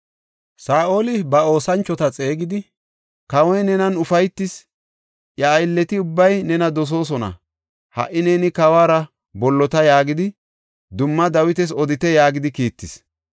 Saa7oli ba oosanchota xeegidi, “ ‘Kawoy nenan ufaytis; iya aylleti ubbay nena dosoosona; ha77i neeni kawuwara bollota’ yaagidi dumma Dawitas odite” yaagidi kiittis.